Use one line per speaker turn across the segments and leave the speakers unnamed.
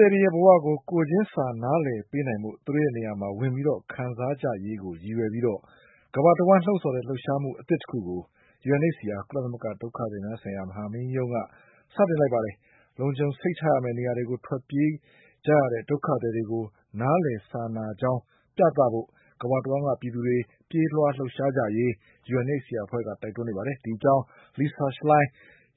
တွေရဲ့ ဘဝကို ကိုယ်ချင်းစာ နားလည်ပေးနိုင်ဖို့ သူတို့ရဲ့နေရာမှာ ဝင်ပြီးခံစားကြရေးကိုရည်ရွယ်ပြီး ကမ္ဘာ တဝှမ်းလှုံ့ဆော်တဲ့ လှုပ်ရှားမှု အသစ်တခုကို UNHCR ကုလသမဂ္ဂဒုက္ခသည်များဆိုင်ရာ မဟာမင်းကြီးရုံးက စတင်လိုက်ပါ တယ်။ လုံခြုံစိတ်ချရ မယ့် နေရာတွေကို ထွက်ပြေးကြရတဲ့ ဒုက္ခသည်တွေကို နားလည် စာနာကြောင်း ပြသဖို့ ကမ္ဘာတဝှမ်း ကပြည်သူတွေ ပြေးလွှား လှုပ်ရှားကြရေး UNHCR အဖွဲ့က တိုက်တွန်းနေပါတယ်။ ဒီအကြောင်း Lisa Schlein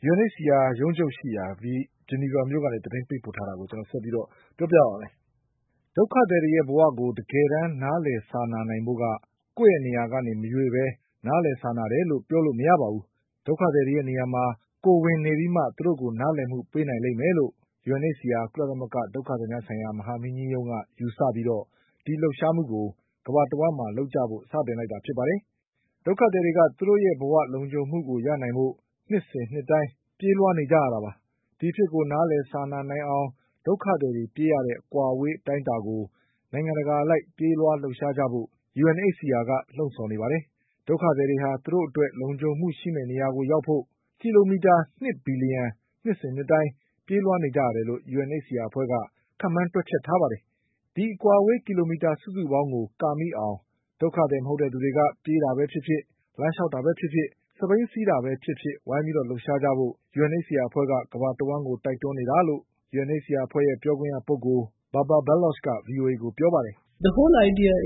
က UNHCR ရုံးချုပ်ရှိရာ ဂျီနီဗာမြို့ကနေ သတင်းပေးပို့ထားတာကို ကိုကျော်အောင်လွင်က ဆက်ပြီးပြောပါ့မယ်။ ဒုက္ခသည်တွေရဲ့ ဘဝကို တကယ်တမ်း နားလည်စာနာနိုင်ဖို့က ကိုယ့်ရဲ့နေရာ ကနေ မရွေ့ပဲ နားလည် စာနာတယ်လို့ ပြောလို့ မရပါဘူး။ ဒုက္ခသည်ရဲ့နေရာမှာ ကိုယ်ဝင်နေပြီးမှ သူတို့ကို နားလည်မှုပေး နိုင်လိမ့်မယ်လို့ UNHCR ကုလသမဂ္ဂ ဒုက္ခသည်များဆိုင်ရာ မဟာမင်းကြီးရုံးက ယူဆပြီး ဒီလှုပ်ရှားမှုကို ကမ္ဘာတဝှမ်းမှာလုပ်ကြဖို့ စတင်လိုက်တာ ဖြစ်ပါတယ်။ ဒုက္ခသည်တွေက သူတို့ရဲ့ ဘဝလုံခြုံမှုရနိုင်ဖို့ နှစ်စဉ်နှစ်တိုင်းပြေးလွှားနေကြရတာပါ။ ဒီအဖြစ်ကို နားလည်စာနာနိုင်အောင် ဒုက္ခသည်တွေပြေးရတဲ့ အကွာအဝေး အတိုင်းအတာကို နိုင်ငံတကာအလိုက်ပြေးလွှားလှုပ်ရှားကြဖို့ UNHCR က လှုံ့ဆော် နေပါတယ်။ ဒုက္ခသည်တွေဟာ သူတို့အတွက် လုံခြုံမှုရှိမယ့်နေရာကို ရောက်နိုင်ဖို့ ကီလိုမီတာ ၂ဘီလျှံ နှစ်စဉ်နှစ်တိုင်း ပြေးလွှားနေကြ ရတယ်လို့ UNHCR အဖွဲ့က ခန့်မှန်းတွက်ချက်ထားပါတယ်။ ဒီအကွာအဝေး ကီလိုမီတာ စုစုပေါင်းကို ကာမိအောင် ဒုက္ခသည် မဟုတ်တဲ့သူတွေက ပြေးတာပဲ ဖြစ်ဖြစ်၊ လမ်းလျှောက်တာပဲဖြစ်ဖြစ်၊ စက်ဘီးစီးတာပဲဖြစ်ဖြစ်ဝိုင်းပြီးလှုပ်ရှားကြဖို့ UNHCRအဖွဲ့က ကမ္ဘာတဝှမ်းတိုက်တွန်းနေတာလို့ UNHCRအဖွဲ့ရဲ့ပြောခွင့်ရပုဂ္ဂိုလ် Babar Baloch က VOA ကိုပြော ပါတယ်။ "ဒုက္ခသည်တွေရဲ့အ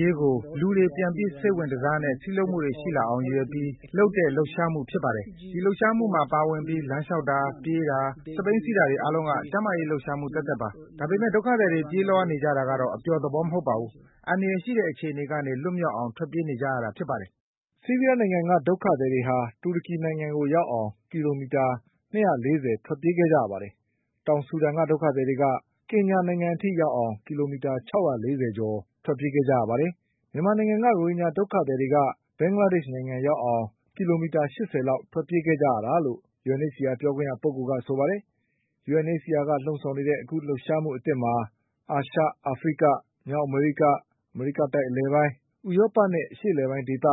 ရေးကိုလူတွေ ပြန်ပြီး စိတ်ဝင်တစားနဲ့ စည်းလုံးမှုတွေရှိလာအောင် ရည်ရွယ်ပြီး လုပ်တဲ့ လှုပ်ရှားမှု ဖြစ်ပါ တယ်။ ဒီလှုပ်ရှားမှုမှာ ပါဝင်ပြီး လမ်းလျှောက်တာ၊ ပြေးတာ၊ စက်ဘီးစီးတာတွေ အားလုံးက ကျန်းမာရေးလှုပ်ရှားမှုသက် သက်ပါ။ ဒါပေမဲ့ ဒုက္ခသည်တွေပြေးလွှားနေကြတာကတော့ အပျော်သဘော မဟုတ်ပါဘူး။ အန္တရာယ်ရှိတဲ့အခြေအနေ ကနေ လွတ်မြောက်အောင် ထွက်ပြေးနေကြရတာဖြစ်ပါတယ်။" ဆီးရီးယားနိုင်ငံက ဒုက္ခသည်တွေဟာ တူရကီနိုင်ငံကိုရောက်အောင် ကီလိုမီတာ ၂၄၀ ထွက်ပြေးခဲ့ကြရပါတယ်။ တောင်ဆူဒန် ဒုက္ခသည်တွေက ကင်ညာနိုင်ငံ အထိရောက်အောင် ကီလိုမီတာ ၆၄၀ကျော် ထွက်ပြေးခဲ့ကြရပါတယ်။ မြန်မာနိုင်ငံက ရိုဟင်ဂျာဒုက္ခသည်တွေက ဘင်္ဂလားဒေ့ရှ်နိုင်ငံရောက်အောင် ကီလိုမီတာ ၈၀လောက် ထွက်ပြေးခဲ့ကြရတာလို့ UNHCR ပြောခွင့်ရပုဂ္ဂိုလ် ကဆိုပါတယ်။ UNHCRက လှုံ့ဆော်နေတဲ့ အခုလှုပ်ရှားမှု အသစ်မှာ အာရှ၊ အာဖရိက၊ မြောက်အမေရိက၊ အမေရိကတိုက် အလယ်ပိုင်း၊ ဥရောပနဲ့ အရှေ့အလယ်ပိုင်းဒေသ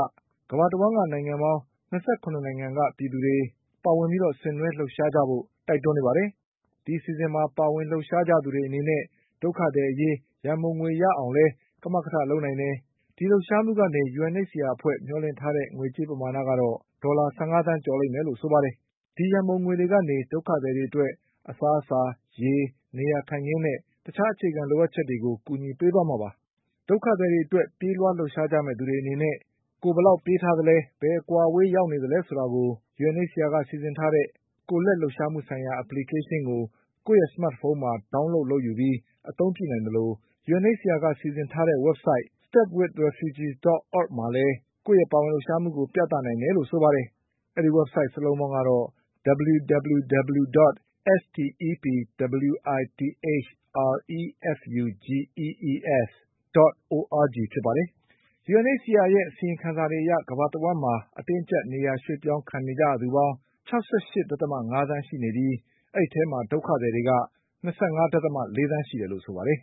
ကမ္ဘာတဝှမ်း နိုင်ငံပေါင်း၂၇နိုင်ငံ က ပြည်သူတွေပါဝင်ပြီး ဆင်နွှဲလှုပ်ရှားကြဖို့ တိုက်တွန်း နေပါတယ်။ ဒီအစီအစဉ်မှာပါဝင် လှုပ်ရှားကြသူတွေ အနေနဲ့ ဒုက္ခသည်အရေး ရန်ပုံငွေရအောင်လည်း ကမကထ လုပ်နိုင်ပါ တယ်။ ဒီလှုပ်ရှားမှုကနေ UNHCRအဖွဲ့ကမျှော်လင့်ထားတဲ့ငွေကြေးပမာဏကတော့ ဒေါ်လာ ၁၅သန်းကျော်လိမ့်မယ်လို့ ဆိုပါတယ်။ ဒီရန်ပုံငွေတွေကနေ ဒုက္ခသည်တွေအတွက်၊ အစားအစာ၊ ရေ၊ နေရာထိုင်ခင်းနဲ့ တခြားအခြေခံလိုအပ်ချက် တွေကို ကူညီပေးသွားမှာပါ။ ဒုက္ခသည်တွေအတွက်ပြေးလွှားလှုပ်ရှားကြမယ့်သူတွေအနေနဲ့ ကိုယ်ဘယ်လောက်ပြေးထားသလဲ၊ ဘယ်အကွာအဝေး ရောက်နေပြီလဲဆိုတာ UNHCR က စီစဉ်ထားတဲ့ ကိုယ်လက်လှုပ်ရှားမှုဆိုင်ရာ Application ကို ကိုယ့်ရဲ့ စမတ်ဖုန်းမှာ Download လုပ်ယူပြီး အသုံးပြုနိုင်သလို၊ UNHCRက စီစဉ်ထားတဲ့ ဝဘ်ဆိုဒ် www.stepwithrefugees.org မှာလည်း ကိုယ့်ရဲ့ပါဝင်လှုပ်ရှားမှုကို ပြသနိုင် တယ်လို့ဆိုပါတယ်။ UNHCRရဲ့ အစီရင်ခံစာတွေအရ ကမ္ဘာတဝှမ်းမှာ အတင်းအကျပ်နေရာ ရွှေ့ပြောင်းခံနေကြရသူပေါင်း ၆၈.၅သန်း ရှိနေပြီး အဲဒီအထဲမှာ ဒုက္ခသည်တွေက ၂၅.၄သန်းရှိတယ်လို့ဆိုပါတယ်